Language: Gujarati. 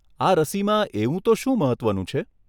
આ રસીમાં એવું તો શું મહત્વનું છે?